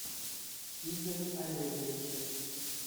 игоре олеговиче